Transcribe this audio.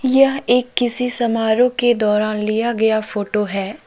यह एक किसी समारोह के दौरान लिया गया फोटो है।